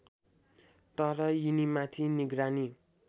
तर यिनीमाथि निगरानी